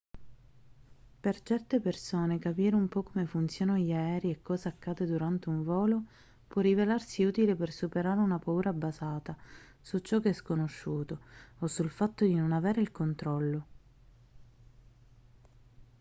per certe persone capire un po' come funzionano gli aerei e cosa accade durante un volo può rivelarsi utile per superare una paura basata su ciò che è sconosciuto o sul fatto di non avere il controllo